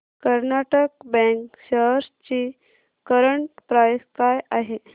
Karnataka bank shares ची current price काय आहे